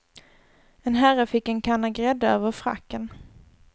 En herre fick en kanna grädde över fracken.